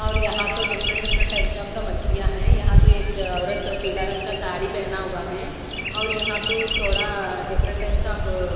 और यहां तो डिफरेंट डिफरेंट टाइप्स ऑफ का मछलियां है यहां तो एक औरत पीला रंग का साड़ी पहना हुआ है और यहां तो थोड़ा डिफरेंट टाइप्स ऑफ़ --